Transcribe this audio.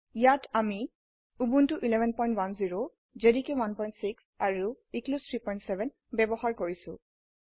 ইয়াত আমি Ubuntu 1110 JDK 16 আৰু এক্লিপছে 37 ব্যবহাৰ কৰিছো